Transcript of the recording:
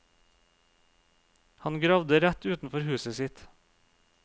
Han gravde rett utenfor huset sitt.